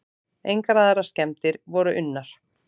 Engar aðrar skemmdir voru unnar.